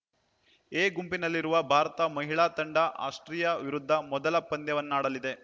A ಗುಂಪಿನಲ್ಲಿರುವ ಭಾರತ ಮಹಿಳಾ ತಂಡ ಆಸ್ಟ್ರಿಯಾ ವಿರುದ್ಧ ಮೊದಲ ಪಂದ್ಯವನ್ನಾಡಲಿದೆ